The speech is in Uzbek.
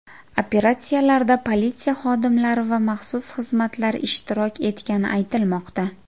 Operatsiyalarda politsiya xodimlari va maxsus xizmatlar ishtirok etgani aytilmoqda.